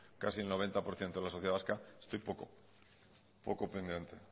casi el noventa por ciento de la sociedad vasca estoy poco poco pendiente